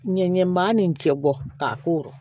Ɲɛɲɛma nin cɛ bɔ k'a korɔ